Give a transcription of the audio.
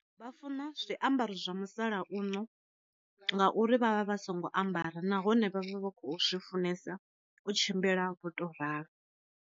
Vha funa zwi ambaro zwa musalauno, ngauri vha vha vha songo ambara nahone vha zwe vha khou zwi funesa u tshimbila vho to ralo.